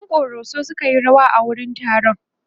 ƴan koroso sukayi rawa a wurin taron